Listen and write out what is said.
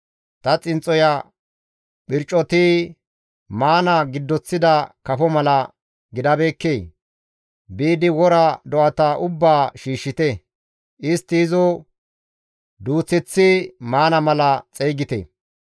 Ta xinxxoya phircoti maana giddoththida kafo mala gidabeekkee? Biidi wora do7ata ubbaa shiishshite; istti izo duuththeththi maana mala xeygite.